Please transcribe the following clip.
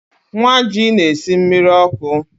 Nwaji na-esi mmiri ọkụ